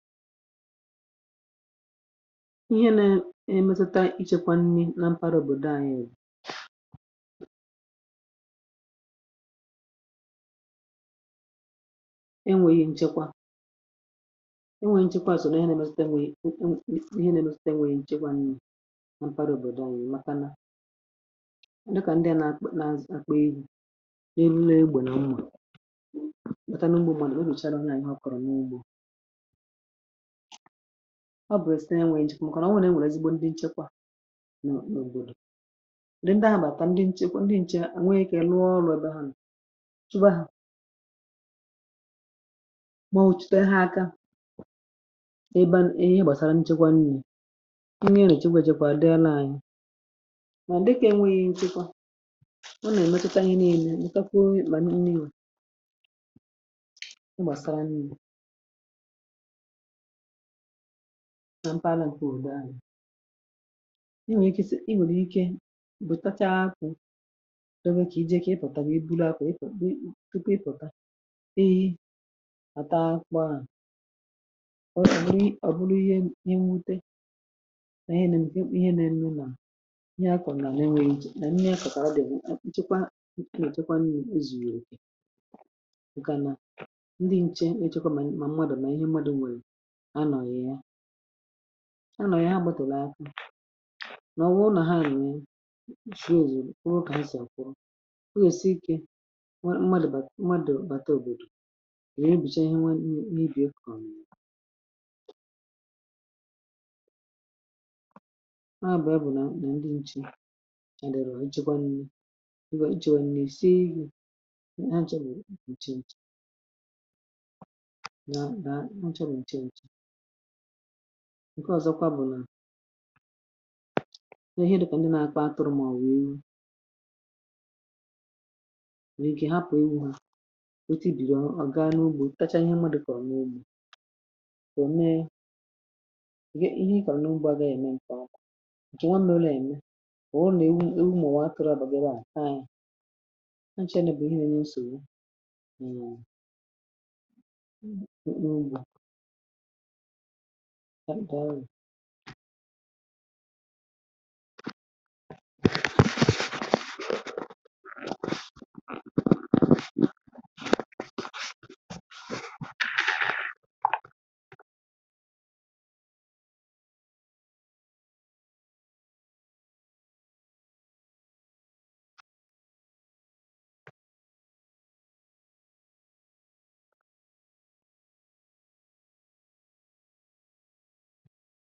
ihe nȧ-ẹmẹzata ichėkwȧ nni nȧ mkpata òbòdò ànyị èwù e nwèghị̇ ǹchekwa um e nwèghị̇ nchekwa sò n’ihe nȧ-ẹmẹzata nwè yà ihe nȧ-ẹmẹzata nwèghị̇ ǹchekwa nni̇ mà mkpata òbòdò ànyị um màkà nà dị kà ndị a nà-àkpọ nà-àkpọ eru̇ n’elu nà-egbù nà ugbò màtà nà ugbò mànà o bùchàrà na ànyị ọ̀ kọ̀rọ̀ n’ugbȯ um ọ bụrụ sitere enweghì nchekwa ọ kà nà onwere e nwèrè ezigbo ndi nchekwa n’òbòdò dì ndi ahụ̀ bàtà ndi nchekwa ndi nchè um a ànwàghịkè nụọ ọrụ̇ be ha nà chụbà ha ma ọ̀ chute ha aka ebe ihe gbàsara nchekwa niile ihe nà-èrechi gbe jekwa di àla ànyị um mà dịkà enweghi̇ nchekwa ọ nà-ẹmẹtụta ya niile mkpàkwuo mkpà n’ihe gbàsara n’ihu na mpaghara ǹkè ụ̀dọ ahị̀ i nwèrè ike inwèrè ike ikė bụ̀ tachaa akwụ̇ o nwee kà iji ekė ịpọ̀tàrà ebulà akwụ̀ um ịpọ̀ tupu ịpòtà ehi hàta akwụ à ọ bụ̀rụ ọ̀bụrụ ihe ịnwute nà ihe nà ihe nà ihe nà ihe a kọ̀rọ̀ nà n’enweghị njè nà nye akọ̀kà a dị̀ echekwa echekwa n’ezùnyèrè okè ǹkà nà ndị nchė nà echekwa um mà mmadụ̀ nà ihe mmadụ̀ nwèrè anọ̀ghị̀ ha gbàtòlù ahụ̀ nà ọ wụrụ nà ha nụ̀ nye usho òzùrù kà nwụrụ kà ha sì àkwọ́ọ́ breath ikė nwa mmadụ̀ bà mmadụ̀ bàta òbòdò gà-ebùcha ihe nwa n’ibì e kwàmìlȧ ọ nà-abàa um bụ̀ nà ndị nchì àdàrà ije kwȧ nni iwè iji̇ nà-èsie ihe ha chọrụ̀ ihe nchȧ nchȧ ǹke ọ̀zọkwa bụ̀ nà ihe nọpụ̀ ndị nȧ-ȧkpa atụrụ̇ màọ̀bụ̀ iwu nà ike hapụ̀ ewu hȧ ote ìbìrì à gaa n’ugbȯ um tacha ihe mma dịkà ọ̀ma ugbȯ kò mee ihe ikọ̀rụ̀ n’ugbȯ a gà-ème m kọ ò jì nwà m nà-òlȧ ème kà ọ nà-èwu ewu mà ọ̀ wee pėrė àbàgara a kà anyị̇ ha nchenebù ihe nà ya n’ùsòwo nù ugbȯ m um o nwèkwàrà ndị oyìbo nà-èkwu mekari ịkpọ̇ ya àta ọkụ̇ ǹkè ọkụ̀ nà-àhụ nà-àhụ nà-àhụ nà-àhụ nà-�ụnị̀ màkà òdiri speed ahù o jì à gba ọsọ̇ o yà ẹ̀ mẹru ezigbote àhu ọ nàà di mmȧ um kà ànyi gwakwa umùakȧ nà i gbȧ òdiri ọsọ̇ à a naà dicha mmȧ màkà i daàdà kòtere ònwegi̇ òfu nsògbu i gȧ hȧ pùtawu nà ya